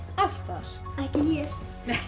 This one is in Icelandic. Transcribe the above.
alls staðar ekki